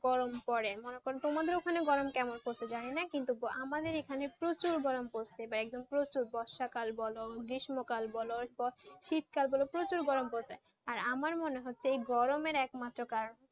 গরম পরে ওখানে মানে তোমাদের ওখানে গরম পড়তে চাহাই না কিন্তু আমাদের এখানে প্রচুর গরম পড়ছে বর্ষা কাল বলো গ্রীস্ম কাল বলো শীত কাল বলো প্রচুর গরম পড়ছে আর আমার মনে হচ্ছে এই গরমে এক মাত্র কারণ